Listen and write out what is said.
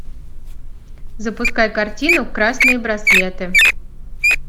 запускай картину красные браслеты